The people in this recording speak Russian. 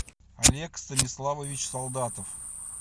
олег станиславович солдатов